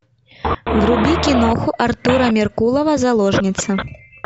вруби киноху артура меркулова заложница